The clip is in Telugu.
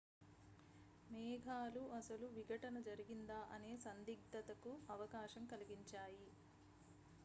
మేఘాలు అసలు విఘటనజరిగిందా అనే సందిగ్ధత కు అవకాశం కలిగించాయి